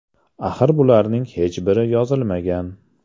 Axir bularning hech biri yozilmagan.